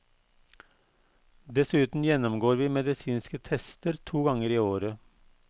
Dessuten gjennomgår vi medisinske tester to ganger i året.